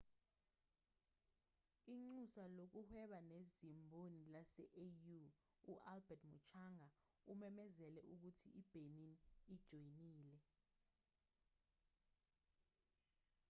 inxusa lokuhweba nezimboni lase-au u-albert muchanga umemezele ukuthi i-benin ijoyinile